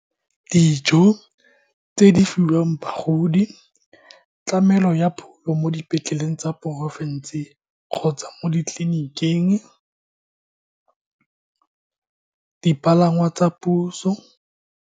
Dijo tse di fiwang bagodi, tlamelo ya phulo mo dipetleleng tsa porofense kgotsa mo di ditleliniking, dipalangwa tsa puso.